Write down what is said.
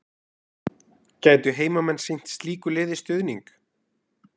Gætu heimamenn sýnt slíku liði stuðning?